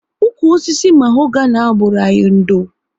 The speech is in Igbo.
Ụkwụ osisi mahogani ahụ bụru anyị ndo